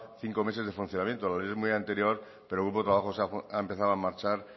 cinco meses de funcionamiento la ley es muy anterior pero hubo trabajos ha empezado a marchar